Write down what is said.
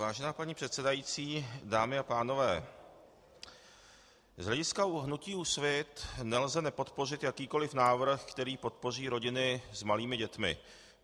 Vážená paní předsedající, dámy a pánové, z hlediska hnutí Úsvit nelze nepodpořit jakýkoliv návrh, který podpoří rodiny s malými dětmi.